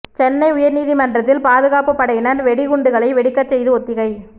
சென்னை உயர் நீதிமன்றத்தில் பாதுகாப்பு படையினர் வெடிகுண்டுகளை வெடிக்கச் செய்து ஒத்திகை